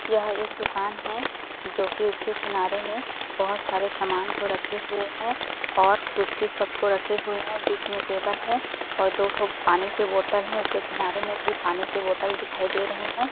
यह एक दुकान है जो की उसके किनारे में बहोत सारे समान को रखे हुए है और कुर्सी सब को रखे हुए है और बीच में टेबल है और दो-ठो पानी के बोटल है और उसके किनारे में भी पानी के बोटल दिखाई दे रहे है।